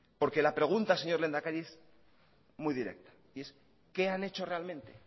porque la pregunta señor lehendakari es muy directa y es qué han hecho realmente